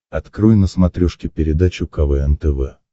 открой на смотрешке передачу квн тв